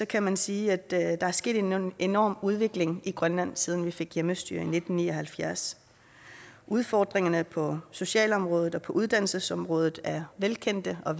kan man sige at der er sket en enorm udvikling i grønland siden vi fik hjemmestyre i nitten ni og halvfjerds udfordringerne på socialområdet og på uddannelsesområdet er velkendte og